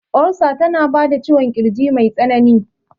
Olsa tana bada ciwon kirji mai tsanani